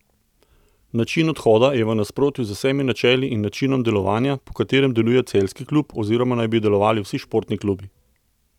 Način odhoda je v nasprotju z vsemi načeli in načinom delovanja, po katerem deluje celjski klub oziroma naj bi delovali vsi športni klubi.